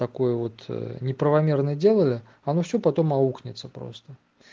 такое вот неправомерное делали оно всё потом аукнется просто